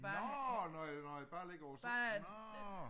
Nårh! Nå ja nå ja bare ligger over sofa nårh